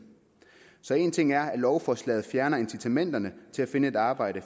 så en ting er at lovforslaget fjerner incitamenterne til at finde et arbejde